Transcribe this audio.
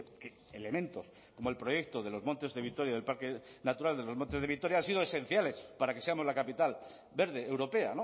que elementos como el proyecto de los montes de vitoria del parque natural de los montes de vitoria han sido esenciales para que seamos la capital verde europea